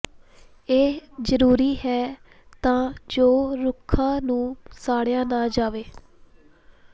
ਇਹ ਜਰੂਰੀ ਹੈ ਤਾਂ ਜੋ ਰੁੱਖਾਂ ਨੂੰ ਸਾੜਿਆ ਨਾ ਜਾਵੇ